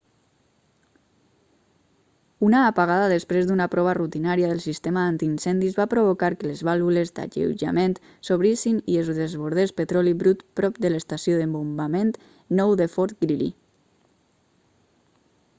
una apagada després d'una prova rutinària del sistema antiincendis va provocar que les vàlvules d'alleujament s'obrissin i es desbordés petroli brut prop de l'estació de bombament 9 de fort greely